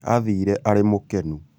athiĩre arĩ mũkenu